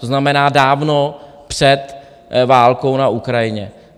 To znamená dávno před válkou na Ukrajině.